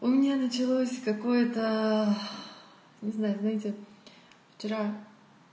у меня началось какое то не знаю знаете вчера